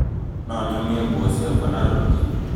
no nyũmie nguo ciakwa na rũrigi